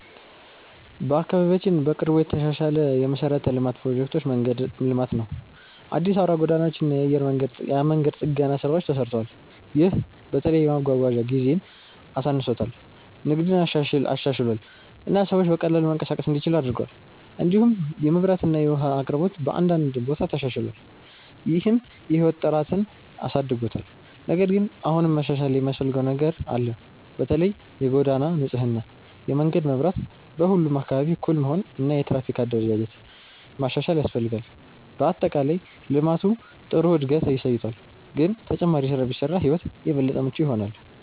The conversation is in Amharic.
በአካባቢያችን በቅርቡ የተሻሻለ የመሠረተ ልማት ፕሮጀክት መንገድ ልማት ነው። አዲስ አውራ ጎዳናዎች እና የመንገድ ጥገና ስራዎች ተሰርተዋል። ይህ በተለይ የመጓጓዣ ጊዜን አሳንሶታል፣ ንግድን አሻሽሏል እና ሰዎች በቀላሉ መንቀሳቀስ እንዲችሉ አድርጓል። እንዲሁም የመብራት እና የውሃ አቅርቦት በአንዳንድ ቦታ ተሻሽሏል፣ ይህም የህይወት ጥራትን አሳድጎታል። ነገር ግን አሁንም መሻሻል የሚያስፈልገው ነገር አለ። በተለይ የጎዳና ንጽህና፣ የመንገድ መብራት በሁሉም አካባቢ እኩል መሆን እና የትራፊክ አደረጃጀት ማሻሻል ያስፈልጋል። በአጠቃላይ ልማቱ ጥሩ እድገት አሳይቷል፣ ግን ተጨማሪ ስራ ቢሰራ ሕይወት የበለጠ ምቹ ይሆናል።